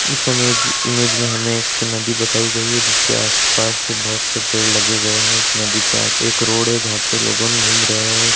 इस इम-इमेज में हमें एक नदी बताई गयी है जिसके आसपास बहुत से पेड़ लगे गए है उस नदी के पास एक रोड है जहां पे लोगन घूम रहे है।